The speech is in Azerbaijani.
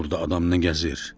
Burada adam nə gəzir?